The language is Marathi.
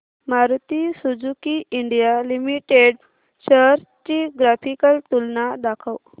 Maruti Suzuki India limited shares ची ग्राफिकल तुलना दाखव